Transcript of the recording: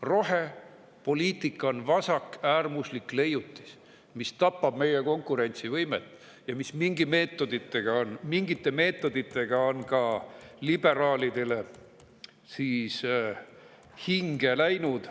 Rohepoliitika on vasakäärmuslik leiutis, mis tapab meie konkurentsivõimet ja on mingite meetodite ka liberaalidele hinge läinud.